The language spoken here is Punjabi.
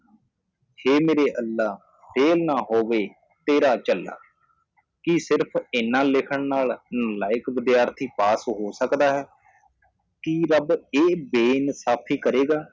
ਹੇ ਮੇਰੇ ਅੱਲ੍ਹਾਹ ਫੇਲ ਨਾ ਹੋਵੇ ਤੇਰਾ ਝੱਲਾ ਕਿ ਸਿਰਫ਼ ਇਹਨਾਂ ਲਿੱਖਣ ਨਾਲ ਨਾਲਾਇਕ ਵਿਦਿਆਰਥੀ ਪਾਸ ਹੋ ਸਕਦਾ ਹੈ ਕਿ ਰੱਬ ਇਹ ਬੇਇਨਸਾਫ਼ੀ ਕਰੇਗਾ